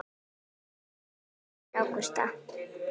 Þín dóttir, Ágústa.